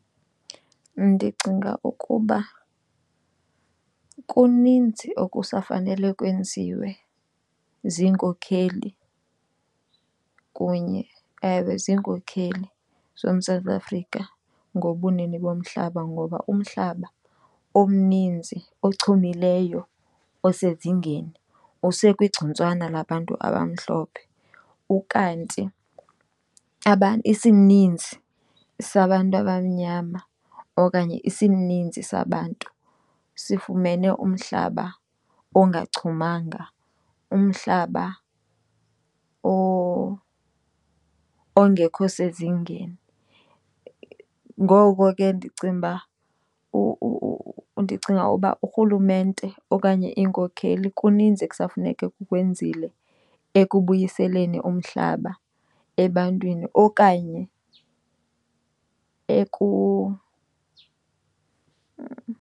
Ndicinga ukuba kuninzi okusafanelwe kwenziwe ziinkokeli kunye ewe ziinkokeli zoMzantsi Afrika ngobunini bomhlaba, ngoba umhlaba omninzi ochumileyo osezingeni usekwigcuntswana labantu abamhlophe. Ukanti isininzi sabantu abamnyama okanye isininzi sabantu sifumene umhlaba ongachumanga, umhlaba ongekho sezingeni. Ngoko ke ndicinga uba , ndicinga uba uRhulumente okanye iinkokheli kuninzi okusafuneka kukwenzile ekubuyiseleni umhlaba ebantwini okanye .